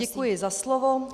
Děkuji za slovo.